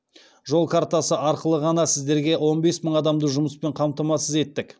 жол картасы арқылы ғана сіздерге он бес мың адамды жұмыспен қамтамасыз еттік